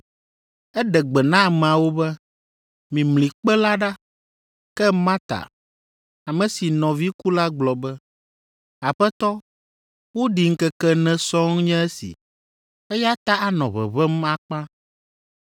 Eɖe gbe na ameawo be, “Mimli kpe la ɖa.” Ke Marta, ame si nɔvi ku la gblɔ be, “Aƒetɔ, woɖii ŋkeke ene sɔŋ nye esi, eya ta anɔ ʋeʋẽm akpa.”